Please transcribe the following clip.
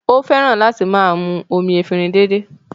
Ó fẹ́ràn láti máa mú omi efinrin dédé